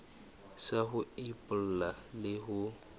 sa ho epolla le ho